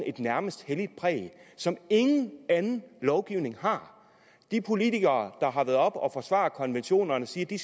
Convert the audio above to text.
et nærmest helligt præg som ingen anden lovgivning har de politikere der har været oppe at forsvare konventionerne siger at de